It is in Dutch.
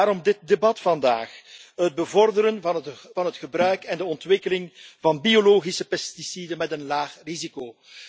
vandaar dit debat vandaag het bevorderen van het gebruik en de ontwikkeling van biologische pesticiden met een laag risico.